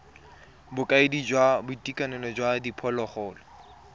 bokaedi jwa boitekanelo jwa diphologolo